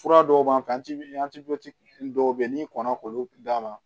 Fura dɔw b'an kan dɔw be yen n'i kɔnna k'olu d'a ma